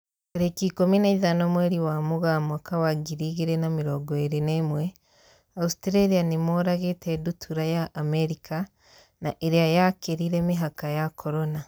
Tarĩki ikũmi na ithano mweri wa Mũgaa mwaka wa ngiri igĩrĩ na mĩrongo ĩrĩ na ĩmwe, Australia nĩmoragĩte ndutura ya Amerika na ĩrĩa yakĩrire mĩhaka ya Corona.